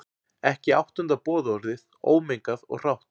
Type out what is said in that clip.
Ekki áttunda boðorðið, ómengað og hrátt.